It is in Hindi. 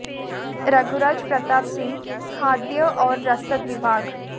रघुराज प्रताप सिंह खाद्य और रसद विभाग